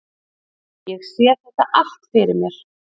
Ég sé þetta allt fyrir mér.